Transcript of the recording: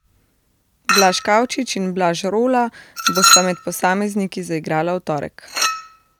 Blaž Kavčič in Blaž Rola bosta med posamezniki zaigrala v torek.